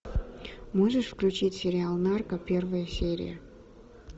можешь включить сериал нарко первая серия